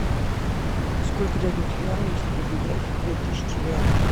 сколько дадут юаней если поменять две тысячи реалов